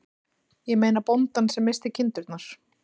Ég meina bóndann sem missti kindurnar.